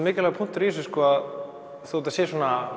mikilvægur punktur í þessu að þótt þetta sé